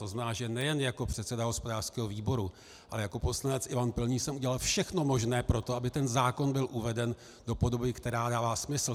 To znamená, že nejen jako předseda hospodářského výboru, ale jako poslanec Ivan Pilný jsem udělal všechno možné pro to, aby ten zákon byl uveden do podoby, která dává smysl.